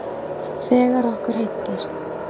Þegar okkur hentar.